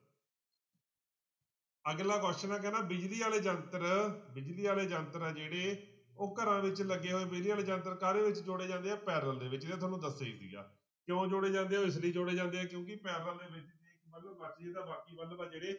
ਅਗਲਾ question ਬਿਜ਼ਲੀ ਵਾਲੇ ਯੰਤਰ ਬਿਜ਼ਲੀ ਵਾਲੇ ਯੰਤਰ ਆ ਜਿਹੜੇ ਉਹ ਘਰਾਂ ਵਿੱਚ ਲੱਗੇ ਹੋਏ ਬਿਜ਼ਲੀ ਵਾਲੇ ਯੰਤਰ ਕਾਹਦੇ ਵਿੱਚ ਜੋੜੇ ਜਾਂਦੇ ਆ parallel ਦੇ ਵਿੱਚ ਇਹ ਤੁਹਾਨੂੰ ਦੱਸਿਆ ਹੀ ਸੀਗਾ, ਕਿਉਂ ਜੋੜੇ ਜਾਂਦੇ ਉਹ ਇਸ ਲਈ ਜੋੜੇ ਜਾਂਦੇ ਆ ਕਿਉਂਕਿ parallel ਦੇ ਵਿੱਚ ਜੇ ਇੱਕ ਬਲਬ ਤਾਂ ਬਾਕੀ ਬਲਬ ਆ ਜਿਹੜੇ